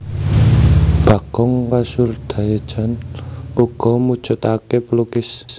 Bagong Kussudiardja uga mujudake pelukis